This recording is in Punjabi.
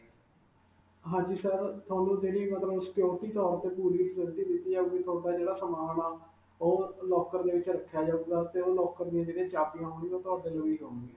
ਹਾਂਜੀ sir. ਤੁਹਾਨੂੰ ਜਿਹੜੀ ਮਤਲਬ security ਤੌਰ 'ਤੇ ਪੂਰੀ facility ਦਿੱਤੀ ਜਾਉਗੀ. ਤੁਹਾਡਾ ਜਿਹੜਾ ਸਮਾਨ ਹੈ ਉਹ locker ਦੇ ਵਿਚ ਰੱਖਿਆ ਜਾਉਗਾ, 'ਤੇ ਉਹ locker ਦੀਆਂ ਜਿਹੜੀਆਂ ਚਾਬੀਆਂ ਹੋਣ ਗਿਆਂ ਉਹ .